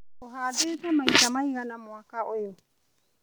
ũhandĩte maita maigana mwaka ũyũ.